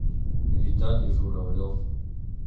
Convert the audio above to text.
виталий журавлев